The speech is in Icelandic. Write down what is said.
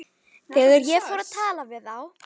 Þegar ég fór að tala við þá.